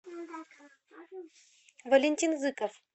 валентин зыков